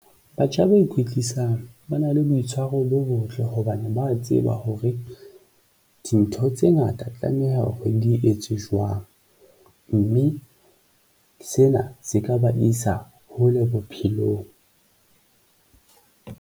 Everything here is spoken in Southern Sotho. Batjha ba ikwetlisang ba na le boitshwaro bo botle hobane ba tseba hore dintho tse ngata tlameha kgwedi etswe jwang, mme sena se ka ba isa hole bophelong.